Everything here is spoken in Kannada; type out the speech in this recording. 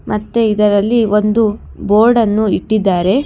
ಮತ್ತೆ ಇದರಲ್ಲಿ ಒಂದು ಬೋರ್ಡ್ ಅನ್ನು ಇಟ್ಟಿದ್ದಾರೆ.